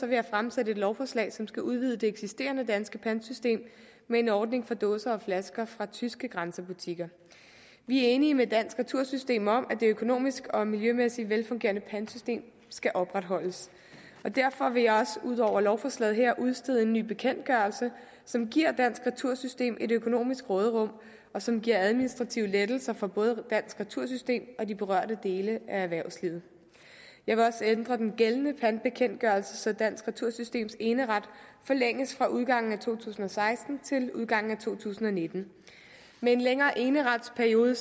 vil jeg fremsætte et lovforslag som skal udvide det eksisterende danske pantsystem med en ordning for dåser og flasker fra tyske grænsebutikker vi er enige med dansk retursystem om at det økonomisk og miljømæssigt velfungerende pantsystem skal opretholdes og derfor vil jeg også ud over lovforslaget her udstede en ny bekendtgørelse som giver dansk retursystem et økonomisk råderum og som giver administrative lettelser for både dansk retursystem og de berørte dele af erhvervslivet jeg vil også ændre den gældende pantbekendtgørelse så dansk retursystems eneret forlænges fra udgangen af to tusind og seksten til udgangen af to tusind og nitten med en længere eneretsperiode